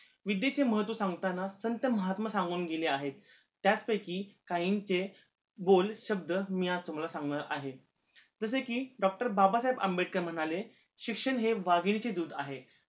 विद्देचे महत्व सांगताना संत महात्मा सांगून गेले आहेत त्याच पैकी काहींचे बोल शब्द मी आज तुम्हाला सांगणार आहे जसे कि doctor बाबासाहेब आंबेडकर म्हणाले शिक्षण हे वाघीनीचे दुध आहे